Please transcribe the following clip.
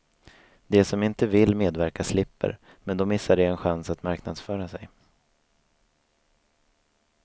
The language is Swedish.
De som inte vill medverka slipper, men då missar de en chans att marknadsföra sig.